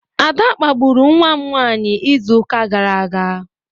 Ada kpagburu nwam nwanyi izu uka gara aga?